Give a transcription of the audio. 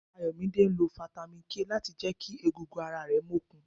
Ayomide ńlo fítámìn k láti jẹ kí egungun ara rẹ mokun.